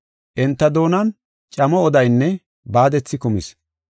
Enta doonan camo odaynne baadethi kumis.